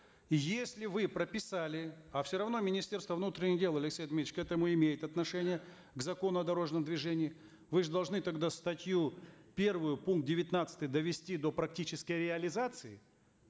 если вы прописали а все равно министерство внутренних дел алексей дмитриевич к этому имеет отношение к закону о дорожном движении вы же должны тогда статью первую пункт девятнадцатый довести до практической реализации